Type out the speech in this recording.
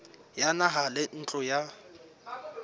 ya naha le ntlo ya